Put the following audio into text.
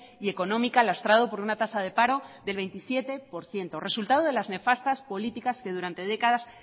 y económica lastrado por una tasa de paro del veintisiete por ciento resultado de las nefastas políticas que durante décadas